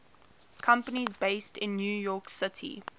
companies based in new york city